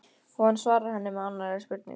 Og hann svarar henni með annarri spurningu